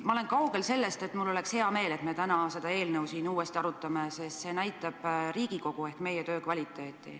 Ma olen kaugel sellest, et mul oleks hea meel, et me täna seda eelnõu siin uuesti arutame, sest see näitab Riigikogu ehk meie töö kvaliteeti.